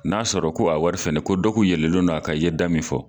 N'a sɔrɔ ko a wari fɛnɛ ko dɔ kun yɛlɛlen no a kan i ye da min fɔ.